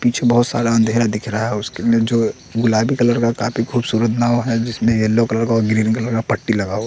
पीछे बहुत सारा अंधेरा दिख रहा है उसके लिए जो गुलाबी कलर का काफी खूबसूरत नाव है जिसने येलो कलर का ग्रीन कलर का पट्टी लगा हुआ--